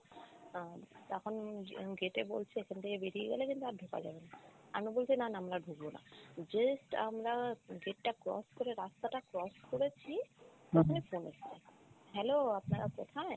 আহ তখন উম gate এ বলছে এখান থেকে বেরিয়ে গেলে কিন্তু আর ঢোকা যাবে না। আমি বলছি না না আমরা আর ঢুকবো না। just আমরা gate টা cross করে রাস্তাটা cross করেছি phone এসেছে hello আপনারা কোথায়?